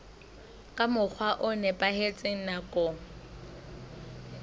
ka mokgwa o nepahetseng nakong